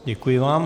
Děkuji vám.